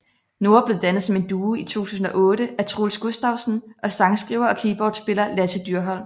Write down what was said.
Noah blev dannet som en duo i 2008 af Troels Gustavsen og sangskriver og keyboardspiller Lasse Dyrholm